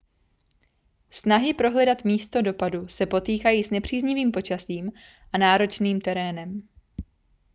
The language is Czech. snahy prohledat místo dopadu se potýkají s nepříznivým počasím a náročným terénem